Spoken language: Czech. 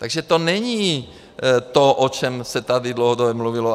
Takže to není to, o čem se tady dlouhodobě mluvilo.